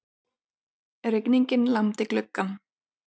Rigningin lamdi gluggann.